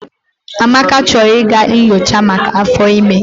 Amaka chọrọ ịga nyochaa maka áfọ́ ịme.